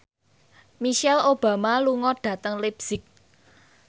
Michelle Obama lunga dhateng leipzig